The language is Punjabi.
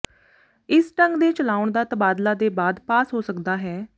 ਇਸ ਢੰਗ ਦੇ ਚਲਾਉਣ ਦਾ ਤਬਾਦਲਾ ਦੇ ਬਾਅਦ ਪਾਸ ਹੋ ਸਕਦਾ ਹੈ